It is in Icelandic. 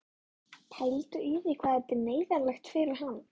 Pældu í því hvað þetta er neyðarlegt fyrir hann!